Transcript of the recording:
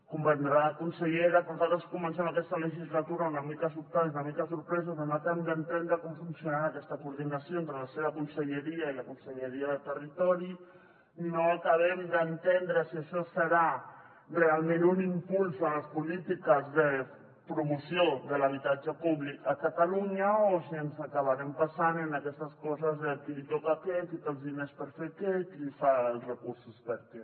comprendrà consellera que nosaltres comencem aquesta legislatura una mica sobtades i una mica sorpreses on no acabem d’entendre com funcionarà aquesta coordinació entre la seva conselleria i la conselleria de territori no acabem d’entendre si això serà realment un impuls de les polítiques de promoció de l’habitatge públic a catalunya o si ens acabarem passant en aquestes coses de a qui li toca què qui té els diners per fer què qui fa els recursos per a què